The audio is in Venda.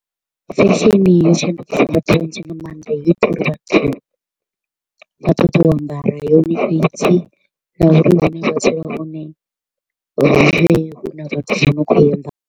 Fashion yo shandukisa vhathu vhanzhi nga maanḓa, yo ita uri vhathu vha ṱoḓe u ambara yone fhedzi na uri hune hu vhe hu na vhathu vho no kho u i ambara.